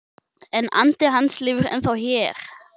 En andi hans lifir ennþá hér